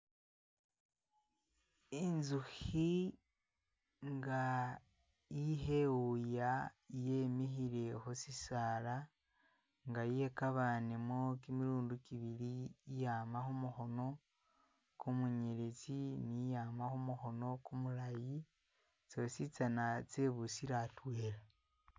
Inzuhi nga ihewuya yemihile husisaala, nga yekabanemu kimilundi kibili iyama humohono kumunyeletsi ni iyama humuhono kumulayi tsosi tsana tsyebusile atwela